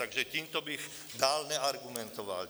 Takže tímto bych dál neargumentoval.